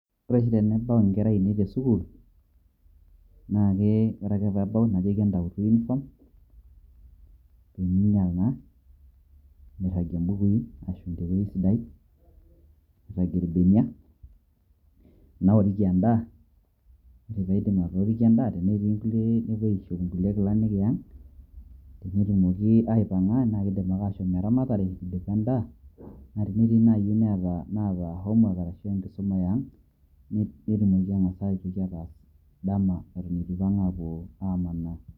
Ore oshi tenebau inkera ainei tesukuul, naa ke ore ake pebao, najoki entautu uniform ,peminyal naa, nirragie bukui ashum tewueji siadi, nirragie irbenia, naoriki endaa. Ore paidip atooriki endaa, tenetii nepuo aishop inkulie kilani eang',netumoki aipang'a na kidim ake ashom eramatare, idipa endaa, na tenetii nai inaaata homework ashu enkisuma e ang',netumoki ang'asa aitoki aas dama eitu ipang' apuo amanaa.